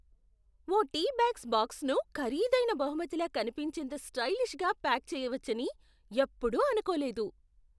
ఓ tea bags బాక్స్ను ఖరీదైన బహుమతిలా కనిపించేంత స్టైలిష్గా ప్యాక్ చేయవచ్చని ఎప్పుడూ అనుకోలేదు.